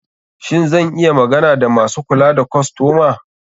Shin zan iya magana da masu kula da kostoma?